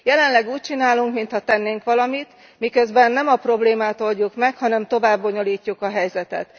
Jelenleg úgy csinálunk, mintha tennénk valamit, miközben nem a problémát oldjuk meg, hanem tovább bonyolítjuk a helyzetet.